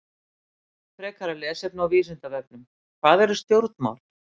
Frekara lesefni á Vísindavefnum: Hvað eru stjórnmál?